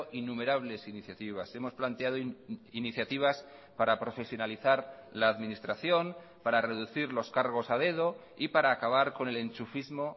innumerables iniciativas hemos planteado iniciativas para profesionalizar la administración para reducir los cargos a dedo y para acabar con el enchufismo